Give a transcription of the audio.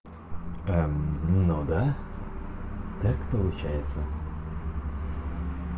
ну да так получается